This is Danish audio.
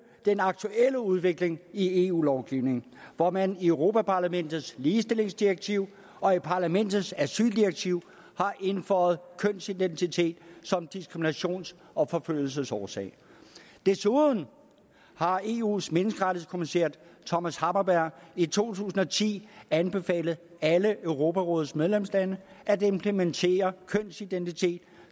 den aktuelle udvikling i eu lovgivningen hvor man i europa parlamentets ligestillingsdirektiv og i parlamentets asyldirektiv har indføjet kønsidentitet som diskriminations og forfølgelsesårsag desuden har eus menneskerettighedskommissær thomas hammarberg i to tusind og ti anbefalet alle europarådets medlemslande at implementere kønsidentitet